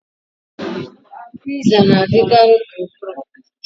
Piza na-adịkarị gburugburu